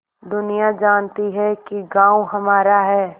दुनिया जानती है कि गॉँव हमारा है